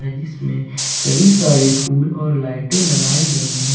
जिसमें कई सारे फूल और लाइटें लगाई गई है।